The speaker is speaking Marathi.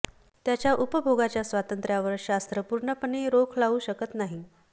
त्याच्या उपभोगाच्या स्वातंत्र्यावर शास्त्र पूर्णपणे रोख लावू शकत नाही